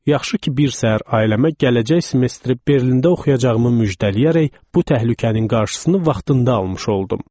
Yaxşı ki, bir səhər ailəmə gələcək semestri Berlində oxuyacağımı müjdələyərək bu təhlükənin qarşısını vaxtında almış oldum.